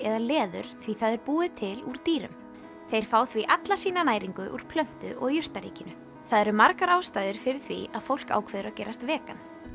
eða leður því það er búið til úr dýrum þeir fá því alla sína næringu úr plöntu og jurtaríkinu það eru margar ástæður fyrir því að fólk ákveður að gerast vegan